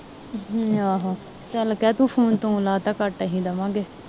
ਆਹੋ ਚੱਲ ਕਿਹ ਤੂੰ ਫੋਨ ਤੂੰ ਲਾਤਾ ਕੱਟ ਆਹੀ ਦਵਾ ਗੇ